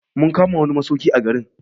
Mun kama wani masauki a garin.